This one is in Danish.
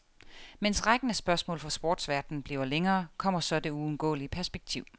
Mens rækken af spørgsmål fra sportsverdenen bliver længere, kommer så det uundgåelige perspektiv.